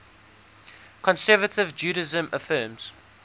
conservative judaism affirms